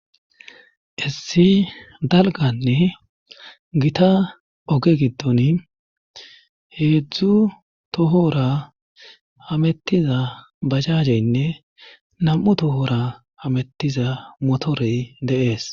Issi dalganne gita oge giddon heedzdzu tohora hamettiza bajajeynne nam'u tohora hamettiza motorey deees.